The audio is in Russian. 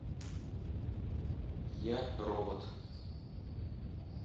я робот